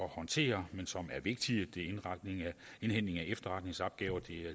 håndtere men som er vigtige det er indhentning af efterretningsopgaver det